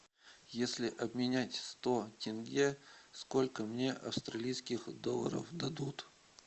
если обменять сто тенге сколько мне австралийских долларов дадут